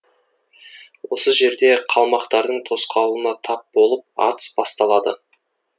осы жерде қалмақтардың тосқауылына тап болып атыс басталады